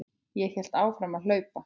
Ég hélt áfram að hlaupa.